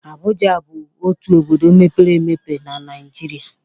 Abụja bụ otu obodo mepere emepe na Naịjịrịa..